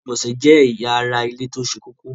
Ilẹ̀-ìgbọ̀nsẹ̀ jẹ́ èyà ara ilẹ̀ tí ó ṣé kòkó.